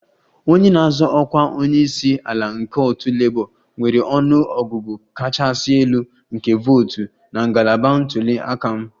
Onye na-azọ ọkwa onye isi ala nke otu Labour nwere ọnụ ọgụgụ kachasị elu nke votu na ngalaba ntuli aka m